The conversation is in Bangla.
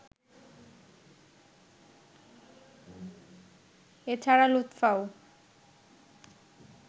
এ ছাড়া লুৎফাও